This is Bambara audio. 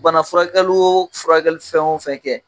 Bana furakɛli o furakɛli fɛn o fɛn kɛ